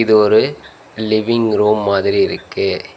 இது ஒரு living room மாதிரி இருக்கு.